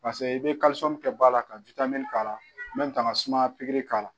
Paseke i bɛ kɛ ba la ka k'a la ka sumaya pikiri k'a la.